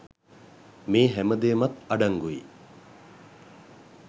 මේ හැම දේමත් අඩංගුයි.